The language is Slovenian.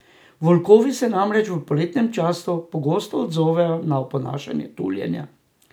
Volkovi se namreč v poletnem času pogosto odzovejo na oponašanje tuljenja.